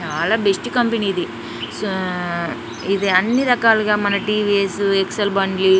చాల best company ఇది. Uh ఇది అని రకాలుగా టీవీఎస్ ఎక్సెల్ బండ్లు--